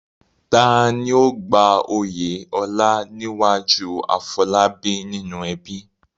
Ta ni ó gba oyè ọlá níwájú Afolabi nínú ẹbí?